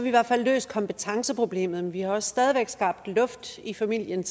i hvert fald løst kompetenceproblemet man vi har også stadig væk skabt luft i familien